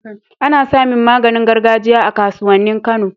Ana samin maganin gargajiya a kasuwanin kano